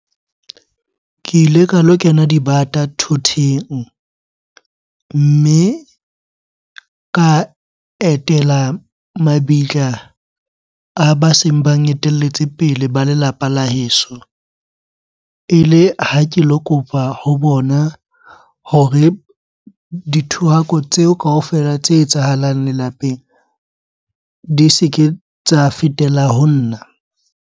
Ke ile ka lo kena dibata thoteng mme ka etela mabitla a ba seng bang etelletse pele ba lelapa la heso. Ele ha ke lo kopa ho bona hore dithohako tseo kaofela tse etsahalang lelapeng di se ke tsa fetela ho nna.